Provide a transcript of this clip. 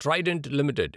Trident limited